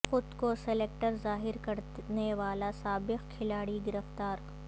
خود کو سیلکٹر ظاہر کرنے والا سابق کھلاڑی گرفتار